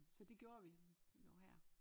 Så det gjorde vi nu her